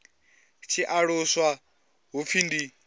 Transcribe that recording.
tshi aluswa hu pfi ndi